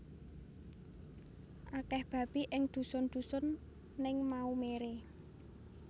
Akeh babi ing dusun dusun ning Maumere